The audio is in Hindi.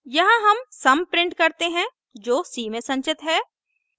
यहाँ हम सम प्रिंट करते हैं जो c में संचित है